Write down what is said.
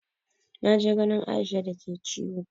Na je ganin Aisha da ke ciwo.